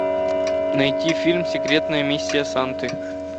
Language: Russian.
найти фильм секретная миссия санты